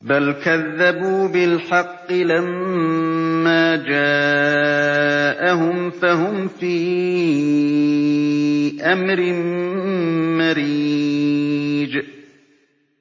بَلْ كَذَّبُوا بِالْحَقِّ لَمَّا جَاءَهُمْ فَهُمْ فِي أَمْرٍ مَّرِيجٍ